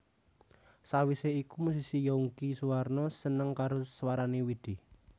Sawise iku musisi Younky Soewarno seneng karo swarané Widi